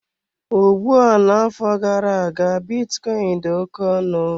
Ugbua n'afọ gara-aga bitcoin dị oke ọnụ.